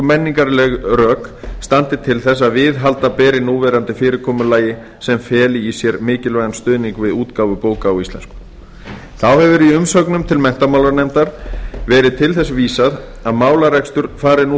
menningarleg rök standi til þess að viðhalda beri núverandi fyrirkomulagi sem feli í sér mikilvægan stuðning við útgáfu bóka á íslensku þá hefur í umsögnum til menntamálanefndar verið til þess vísað að málarekstur fari nú